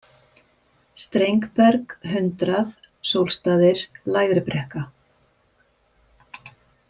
Strengberg, Hundrað, Sólstaðir, Lægribrekka